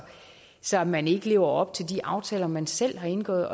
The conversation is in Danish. så man ikke lever op til de aftaler man selv har indgået